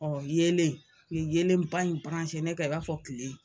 yeelen u ye yelenba in ne ka i b'a fɔ tile